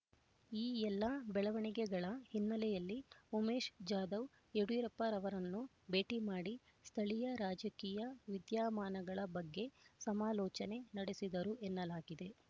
ಈ ಎಲ್ಲಾ ಬೆಳವಣಿಗೆಗಳ ಹಿನ್ನೆಲೆಯಲ್ಲಿ ಉಮೇಶ್ ಜಾಧವ್ ಯಡಿಯೂರಪ್ಪನವರನ್ನು ಭೇಟಿ ಮಾಡಿ ಸ್ಥಳೀಯ ರಾಜಕೀಯ ವಿದ್ಯಮಾನಗಳ ಬಗ್ಗೆ ಸಮಾಲೋಚನೆ ನಡೆಸಿದರು ಎನ್ನಲಾಗಿದೆ